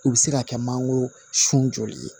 U bɛ se ka kɛ mangoro sun joli ye